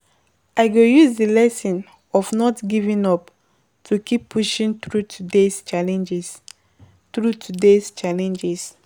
I go use di lesson of not giving up to keep pushing through today’s challenges. through today’s challenges.